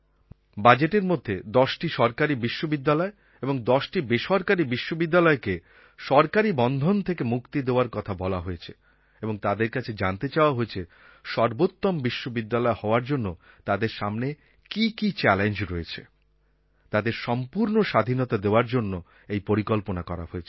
বাজেটের মধ্যে দশটি সরকারী বিশ্ববিদ্যালয় এবং দশটি বেসরকারী বিশ্ববিদ্যালয়কে সরকারী বন্ধন থেকে মুক্তি দেওয়ার কথা বলা হয়েছে এবং তাদের কাছে জানতে চাওয়া হয়েছে সর্বোত্তম বিশ্ববিদ্যালয় হওয়ার জন্য তাদের সামনে কী কী চ্যালেঞ্জ রয়েছে তাদের সম্পূর্ণ স্বাধীনতা দেওয়ার জন্য এই পরিকল্পনা করা হয়েছে